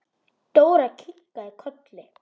Dóra kinkaði kolli.